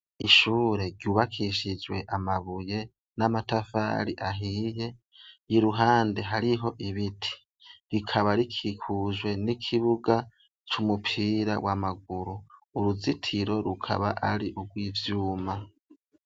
Ishure ryubakishijwe amabuye n'amatafari ahiye y'iruhande hariho ibiti, rikaba rikikujwe n'ikibuga c'umupira w'amaguru uruzitiro rukaba ari urw'ivyuma.